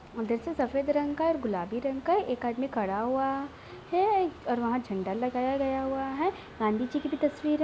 उधर से सफेद रंग का गुलाबी रंग का एक आदमी खड़ा हुआ है और वहाँ झण्डा लगाया गया हुआ है गांधी जी की भी तस्वीर है|